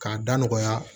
K'a da nɔgɔya